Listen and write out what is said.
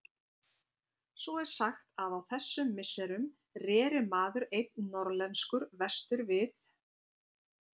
Svo er sagt að á þessum misserum reri maður einn norðlenskur vestur við